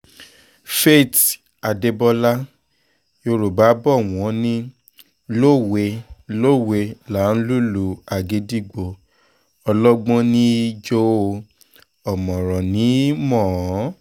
faith adébọlá yorùbá bò wọ́n ní lówe-lowe láá lùlù agídígbò ọlọgbọ́n ní í jó o ọ̀mọ̀ràn ní í mọ̀ ọ́n